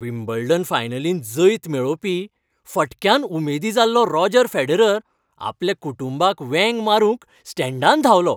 Wimbledon फायनलींत जैत मेळोवपी फटक्यान उमेदी जाल्लो रॉजर फेडरर आपल्या कुटुंबाक वेंग मारूंक स्टँडांत धांवलो.